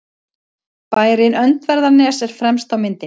Bærinn Öndverðarnes er fremst á myndinni.